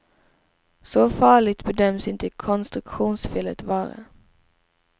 Så farligt bedöms inte konstruktionsfelet vara.